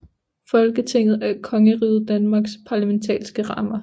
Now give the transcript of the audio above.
Folketinget er Kongeriget Danmarks parlamentariske kammer